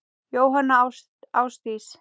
Jóhanna Ásdís.